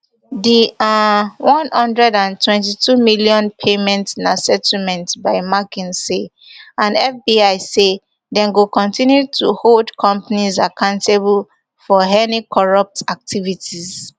di um one hundred and twenty-two million payment na settlement by mckinsey and fbi say dem go continue to hold companies accountable for any corrupt activities